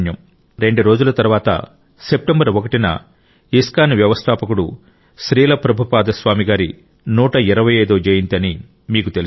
కేవలం రెండు రోజుల తరువాత సెప్టెంబర్ 1 న ఇస్కాన్ వ్యవస్థాపకుడు శ్రీల ప్రభుపాద స్వామి గారి 125 వ జయంతి అని మీకు తెలుసు